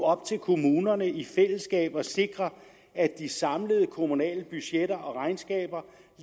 op til kommunerne i fællesskab at sikre at de samlede kommunale budgetter og regnskaber